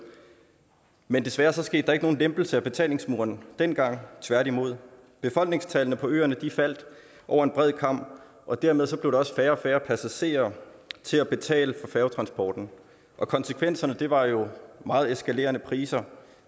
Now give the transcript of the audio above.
men desværre skete der ikke nogen lempelse af betalingsmuren dengang tværtimod befolkningstallet på øerne faldt over en bred kam og dermed blev der også færre og færre passagerer til at betale for færgetransporten og konsekvenserne var jo meget eskalerende priser